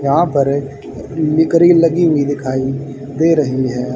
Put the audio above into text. यहां पर निकरी लगी हुई दिखाई दे रही है।